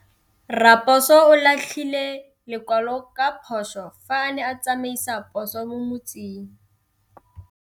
Raposo o latlhie lekwalô ka phosô fa a ne a tsamaisa poso mo motseng.